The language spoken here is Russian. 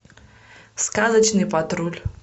сказочный патруль